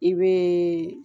I bɛ